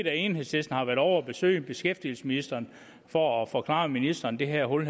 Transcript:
at enhedslisten har været ovre at besøge beskæftigelsesministeren for at forklare ministeren det her hul